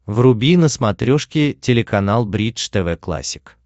вруби на смотрешке телеканал бридж тв классик